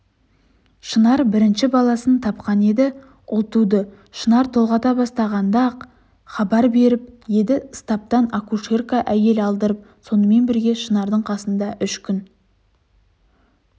шынар бірінші баласын тапқан еді ұл туды шынар толғата бастағанда-ақ хабар беріп еді стаптан акушерка әйел алдырып сонымен бірге шынардың қасында үш күн